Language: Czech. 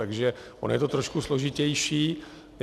Takže ono je to trošku složitější.